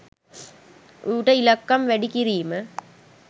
ඌට ඉලක්කම් වැඩි කිරීම